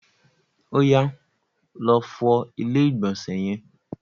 Oyà, lọ fọ ilé ìgbọ̀nsẹ̀ yẹn!